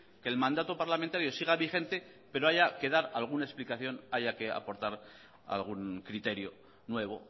que el mandato parlamentario siga vigente pero haya que dar alguna explicación haya que aportar algún criterio nuevo